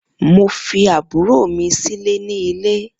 Mo fi àbúrò mi sílè ní ilé